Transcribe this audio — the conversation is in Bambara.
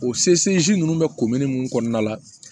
O ninnu bɛ mun kɔnɔna la